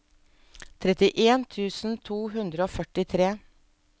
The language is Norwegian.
trettien tusen to hundre og førtitre